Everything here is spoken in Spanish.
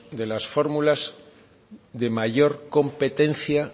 de las fórmulas de mayor competencia